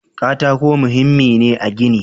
Katako muhimmi ne a gini.